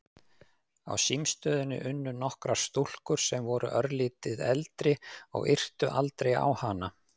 Á símstöðinni unnu nokkrar stúlkur sem voru örlítið eldri og yrtu aldrei á hana.